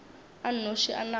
a nnoši a nago le